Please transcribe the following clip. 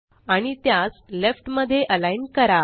आणि त्यास लेफ्ट मध्ये अलाइन करा